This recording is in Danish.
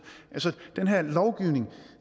den her lovgivning